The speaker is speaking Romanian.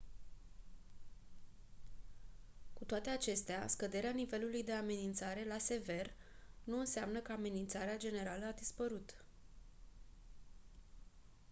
«cu toate acestea scăderea nivelului de amenințare la «sever» nu înseamnă că amenințarea generală a dispărut».